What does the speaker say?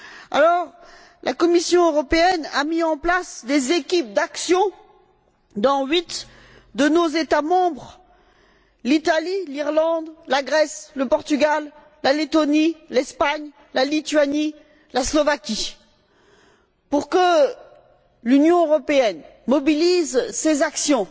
Alors, la Commission européenne a mis en place des équipes d'action dans huit de nos États membres l'Italie, l'Irlande, la Grèce, le Portugal, la Lettonie, l'Espagne, la Lituanie, la Slovaquie pour que l'Union européenne mobilise ses actions,